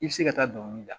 I bɛ se ka taa dɔnkili da